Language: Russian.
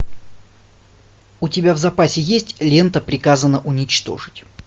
у тебя в запасе есть лента приказано уничтожить